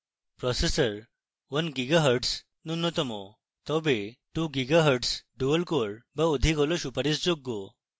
processor: 1 gigahertz ন্যূনতম তবে 2 gigahertz dual core বা অধিক হল সুপারিশযোগ্য